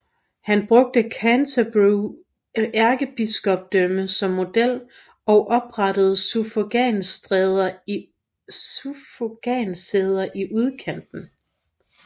Han brugte Canterbury ærkebispedømme som model og oprettede suffragansæder i udkanten